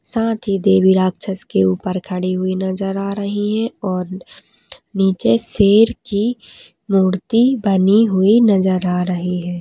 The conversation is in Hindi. साथ ही देवी राक्षस के ऊपर खड़ी हुई नजर आ रही है और नीचे रही है शेर की मूर्ति बनी हुई नजर आ रही है।